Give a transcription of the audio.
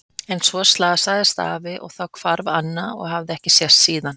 En svo slasaðist afi og þá hvarf Anna og hafði ekki sést síðan.